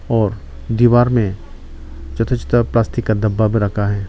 और दीवार में छोता छोता प्लास्टिक का डब्बा भी रखा है।